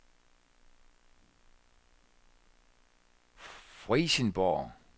Frijsenborg